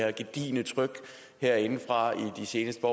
det gedigne tryk herinde fra i de seneste